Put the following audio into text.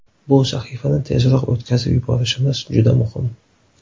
Bu sahifani tezroq o‘tkazib yuborishimiz juda muhim.